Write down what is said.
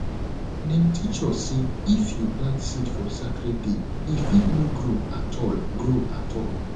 dem teach us say if you plant seed for sacred day e fit no grow at all grow at all